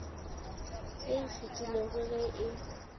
ye e fetilego ge e